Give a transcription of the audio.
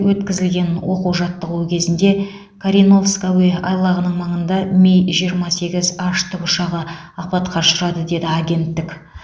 өткізілген оқу жаттығуы кезінде кореновск әуе айлағының маңында ми жиырма сегіз ұшағы апатқа ұшырады деді агенттік